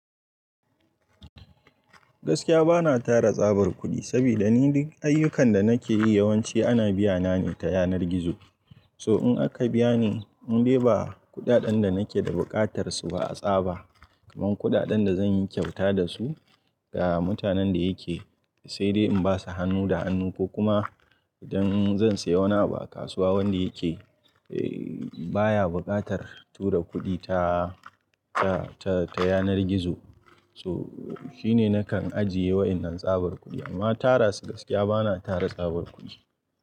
Gaskiya bana tara tsabar kudi, saboda ni duk ayyukan da nake yi yawanci ana biya na ne ta yanar gizo. So in aka biya ni, in dai ba kuɗaɗen da nake da buƙatar su ba a tsaba, kaman kuɗaɗen da zan yi kyauta da su ga mutanen da yake, sai dai in ba su hannu da hannu ko kuma idan zan sayi wani abu a kasuwa wanda yake, eh baya buƙatar tura kuɗi ta, ta, ta, ta yanar gizo. So shi ne nakan ajiye wa'innan tsabar kudi. Amma tara su gaskiya bana tara tsabar kudi.